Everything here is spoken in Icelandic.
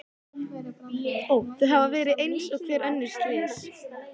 Þau hafa verið eins og hver önnur slys.